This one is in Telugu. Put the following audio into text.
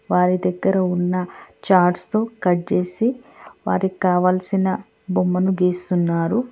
వారి దగ్గర ఉన్న ఛార్ట్స్ తో కట్ చేసి వారికి కావాల్సిన బొమ్మను గీస్తున్నారు.